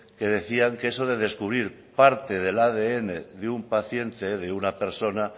que decían que eso de descubrir parte del adn de un paciente de una persona